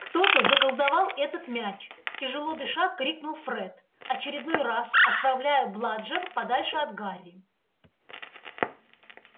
кто-то заколдовал этот мяч тяжело дыша крикнул фред очередной раз отправляя бладжер подальше от гарри